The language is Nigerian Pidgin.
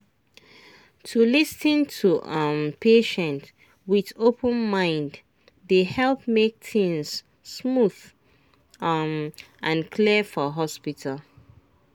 to lis ten to um patient with open mind dey help make things smooth um and clear for hospital.